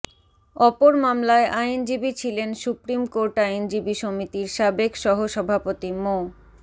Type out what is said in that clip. অপর মামলায় আইনজীবী ছিলেন সুপ্রিম কোর্ট আইনজীবী সমিতির সাবেক সহসভাপতি মো